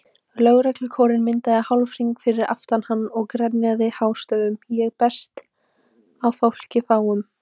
Lögreglukórinn myndaði hálfhring fyrir aftan hann og grenjaði hástöfum Ég berst á fáki fráum.